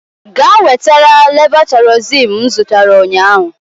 Gaa wetara levotaịrozin m zụtara ụnyaahụ!